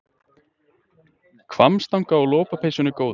Hvammstanga og lopapeysunni góðu.